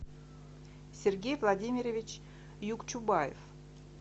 сергей владимирович юкчубаев